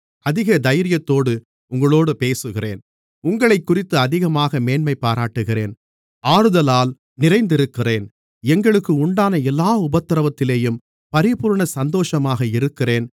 அதிக தைரியத்தோடு உங்களோடு பேசுகிறேன் உங்களைக்குறித்து அதிகமாக மேன்மைபாராட்டுகிறேன் ஆறுதலால் நிறைந்திருக்கிறேன் எங்களுக்கு உண்டான எல்லா உபத்திரவத்திலேயும் பரிபூரண சந்தோஷமாக இருக்கிறேன்